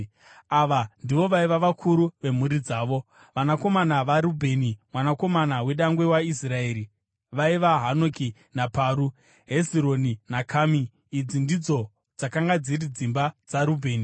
Ava ndivo vaiva vakuru vemhuri dzavo: Vanakomana vaRubheni mwanakomana wedangwe waIsraeri vaiva Hanoki naParu, Hezironi naKami. Idzi ndidzo dzakanga dziri dzimba dzaRubheni.